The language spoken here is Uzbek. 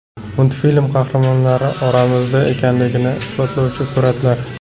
Multfilm qahramonlari oramizda ekanligini isbotlovchi suratlar .